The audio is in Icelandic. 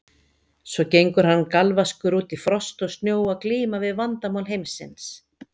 Svo gengur hann galvaskur út í frost og snjó að glíma við Vandamál Heimsins.